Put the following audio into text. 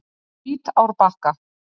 Hvítárbakka